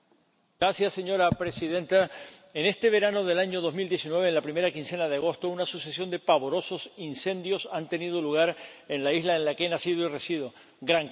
Señora presidenta, en este verano del año 2019, en la primera quincena de agosto, una sucesión de pavorosos incendios ha tenido lugar en la isla en la que he nacido y resido, Gran Canaria.